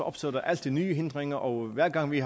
opstår der altid nye hindringer og hver gang vi